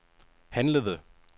handlede